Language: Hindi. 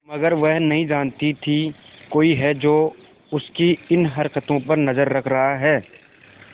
मगर वह नहीं जानती थी कोई है जो उसकी इन हरकतों पर नजर रख रहा है